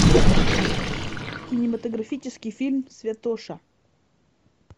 кинематографический фильм святоша